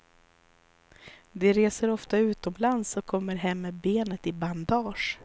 De reser oftare utomlands och kommer hem med benet i bandage.